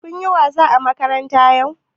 Kun yi wasa a makaranta yau?